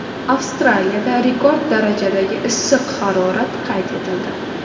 Avstraliyada rekord darajadagi issiq harorat qayd etildi.